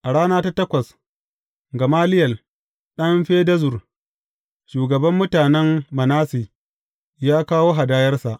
A rana ta takwas, Gamaliyel ɗan Fedazur, shugaban mutanen Manasse, ya kawo hadayarsa.